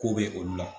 Ko bɛ olu la